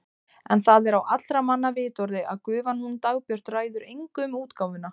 En það er á allra manna vitorði að gufan hún Dagbjört ræður engu um útgáfuna.